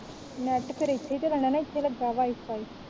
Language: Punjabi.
ਨੇਟ ਫੇਰ ਇਥੇ ਹੀ ਚਲਣਾ ਨਾ ਇਥੇ ਹੀ ਲਗਾ ਵਾਈਫਾਈ